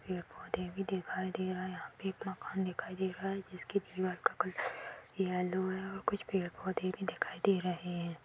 पेड़ पौधे भी दिखाई दे रहे है यहाँ पे एक मकान दिखाई दे रहा है जिसके दीवाल का कलर येलो है और कुछ पेड़ पौधे भी दिखाई दे रहे हैं ।